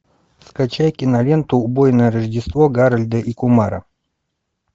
скачай киноленту убойное рождество гарольда и кумара